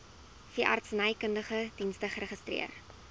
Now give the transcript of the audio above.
veeartsenykundige dienste geregistreer